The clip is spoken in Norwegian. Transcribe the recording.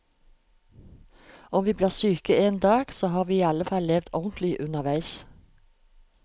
Om vi blir syke en dag, så har vi i alle fall levd ordentlig underveis.